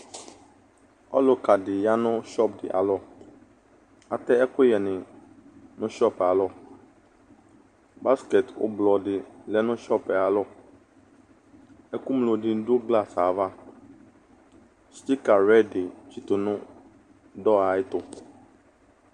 Ɔlʋka dɩ ya nʋ sɔp dɩ alɔ Atɛ ɛkʋyɛnɩ nʋ sɔp yɛ alɔ Baskɛt ʋblɔ dɩ ɔlɛ sɔp yɛ ayalɔ Ɛkʋŋlo dɩnɩ dʋ glas yɛ ava Stika rɛd dɩ tsɩtʋ nʋ dɔr ayɛtʋ